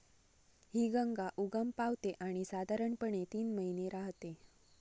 हि गंगा उगम पावते आणि साधारणपणे तीन महिने राहते.